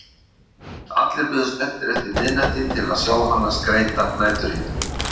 Allir biðu spenntir eftir miðnætti til að sjá hana skreyta næturhimininn.